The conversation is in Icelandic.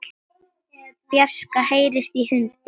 fjarska heyrist í hundi.